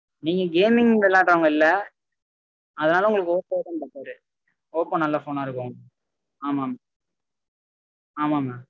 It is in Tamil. நீங்க gaming விளையாடறவங்க இல்ல அதனால உங்களுக்கு oppo தா better ரு oppo நல்ல phone ஆஹ் இருக்கும் ஆமா mam ஆமா mam